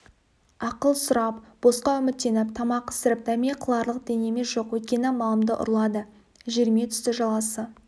ақыл сұрап босқа үміттеніп тамақ ісіріп дәме қыларлық дәнеме жоқ өйткені малымды ұрлады жеріме түсті жаласы